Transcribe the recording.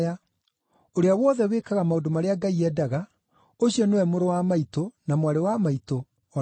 Ũrĩa wothe wĩkaga maũndũ marĩa Ngai endaga, ũcio nĩwe mũrũ wa maitũ, na mwarĩ wa maitũ, o na maitũ.”